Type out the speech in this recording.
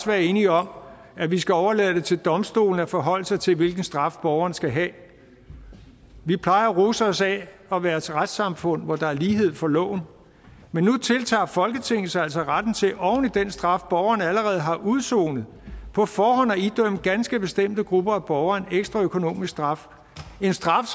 være enige om at vi skal overlade det til domstolene at forholde sig til hvilken straf borgeren skal have vi plejer at rose os af at være et retssamfund hvor der er lighed for loven men nu tiltager folketinget sig altså retten til oven i den straf borgerne allerede har udsonet på forhånd at idømme ganske bestemte grupper af borgere en ekstra økonomisk straf en straf